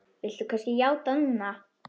Viltu kannski játa núna?